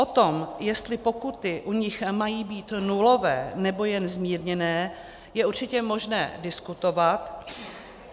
O tom, jestli pokuty u nich mají být nulové, nebo jen zmírněné, je určitě možné diskutovat.